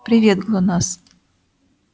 привет глонассс